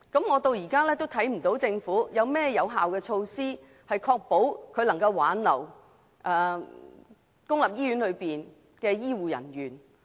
我至今仍看不到政府有採取甚麼有效措施，挽留公立醫院的醫護人員。